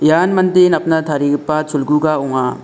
ian mande napna tarigipa cholguga ong·a.